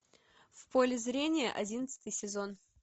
в поле зрения одиннадцатый сезон